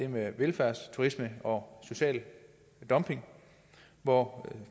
velfærdsturisme og social dumping hvor